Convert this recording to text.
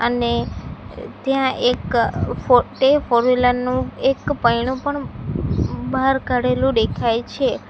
અને ત્યાં એક ફો ટે ફોરવ્હીલર નું એક પઇન્ડુ પણ બહાર કાઢેલું દેખાય છે.